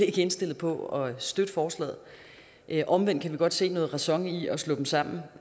ikke indstillet på at støtte forslaget omvendt kan vi godt se noget ræson i at slå dem sammen